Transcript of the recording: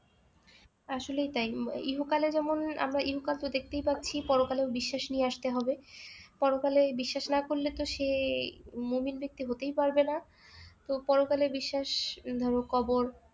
আসলেই তাই ইহকালে যেমন আমরা ইহকাল তো দেখতেই পাচ্ছি পরকালেও বিশ্বাস নিয়ে আসতে হবে পরকালে এই বিশ্বাস না করলে তো সে মুনির দিকটি হতেই পারবেনা তো পরকালে বিশ্বাস ধরো কবর